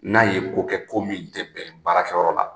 N'a ye ko kɛ ko min bɛn tɛ baarakɛyɔrɔ la